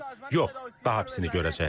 Yox, daha pisini görəcəklər.